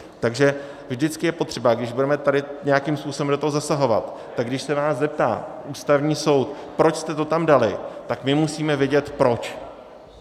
Takže vždycky je potřeba, když budeme tady nějakým způsobem do toho zasahovat, tak když se nás zeptá Ústavní soud, proč jste to tam dali, tak my musíme vědět proč.